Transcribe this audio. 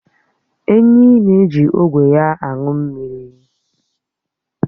Ènyị́ na-èji ógwe ya aṅụ mmiri